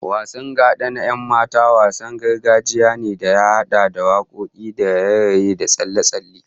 Wasan gada na 'yan mata, wasan gargajiya ne da ya hada da wakoki da raye-raye da tsalle-tsalle